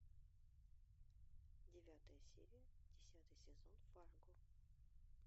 девятая серия десятый сезон фарго